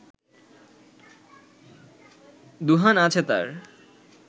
দুহান আছে তার